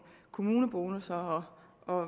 kommunebonusser og